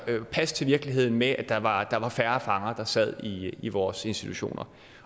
passe til virkeligheden med at der var der var færre fanger der sad i vores institutioner